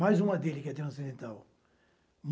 Mais uma dele que é transcendental.